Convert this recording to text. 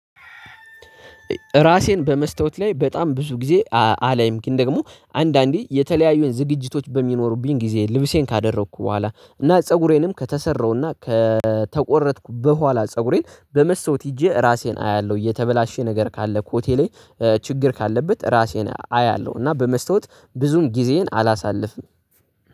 ራሴን በመስታወት ላይ በጣም ብዙ ጊዜ አላይም። ግን ደግሞ አንዳንዴ የተለያዩን ዝግጅቶች በሚኖሩብኝ ጊዜ፤ ልብሴን ካደረኩ በኋላ፤ እና ፀጉሬንም ከተሰራሁና ከተቆረጥኩ በኋላ፤ ፀጉሬን በመስታወት ሄጄ ራሴን አያለሁ። የተበላሸ ነገር ካለ ኮሆቴ ላይ ችግር ካለበት ራሴን አያለሁ እና በመስታወት ብዙም ጊዜዬን አላሳልፍም።